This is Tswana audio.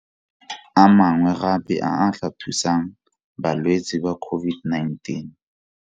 A mangwe gape a a tla thusang balwetse ba COVID-19.